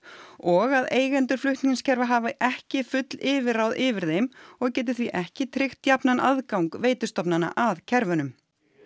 og að eigendur flutningskerfa hafi ekki full yfirráð yfir þeim og geti því ekki tryggt jafnan aðgang veitustofnana að kerfunum